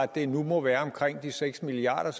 det nu må være omkring de seks milliard